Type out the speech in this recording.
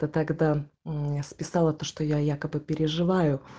то тогда мм списала то что я якобы переживаю